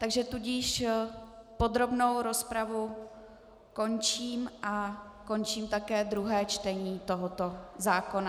Takže tudíž podrobnou rozpravu končím a končím také druhé čtení tohoto zákona.